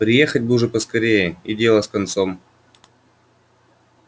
приехать бы уж поскорее и дело с концом